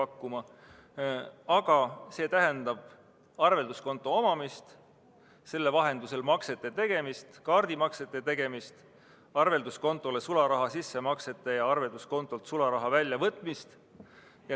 Küll aga tähendab see arvelduskonto avamist, selle vahendusel maksete tegemist, sh kaardimaksete tegemist, arvelduskontole sularaha sissemaksete tegemist ja arvelduskontolt sularaha väljavõtmist.